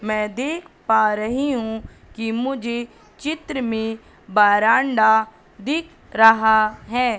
मैं देख पा रही हूं कि मुझे चित्र में बरांडा दिख रहा है।